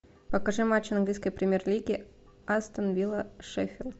покажи матч английской премьер лиги астон вилла шеффилд